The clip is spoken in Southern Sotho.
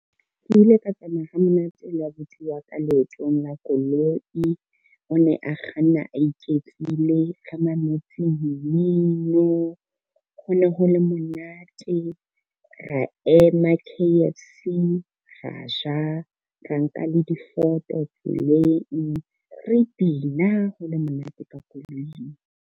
Ke ile ka tsamaya ha monate le abuti wa ka leotong la koloi. O ne a kganna a iketlile, ke mametse mmino hone ho le monate. Ra ema K_F_C, ra ja, ra nka le difoto tseleng, re bina ho le monate ka koloing.